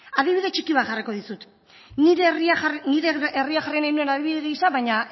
adibide txiki bat jarriko dizut nire herria jarri nahi nuen adibide gisa baina